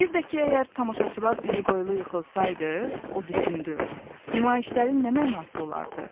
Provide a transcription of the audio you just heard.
Bir də ki, əgər tamaşaçılar üzü qoyulu yıxılsaydı, o düşündü, nümayişlərin nə mənası olardı?